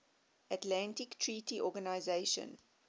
atlantic treaty organisation